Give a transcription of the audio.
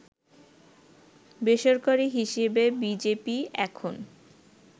বেসরকারি হিসাবে বিজেপি এখন